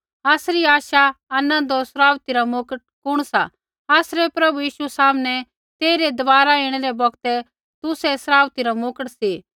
आसरी आशा आनन्द होर सराउथी रा मुकट कुण सा आसरै प्रभु यीशु सामनै तेइरै दबारा ऐणै रै बौगतै तुसै ही सराउथी रा मुकट सी